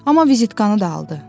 Amma vizitkanı da aldı.